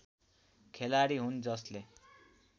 खेलाडी हुन् जसले